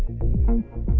út